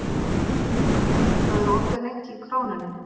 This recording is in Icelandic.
Rúbar, hvað er opið lengi í Krónunni?